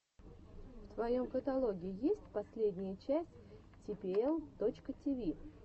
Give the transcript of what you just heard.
в твоем каталоге есть последняя часть типиэл точка тиви